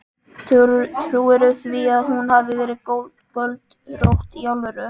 Trúirðu því að hún hafi verið göldrótt. í alvöru?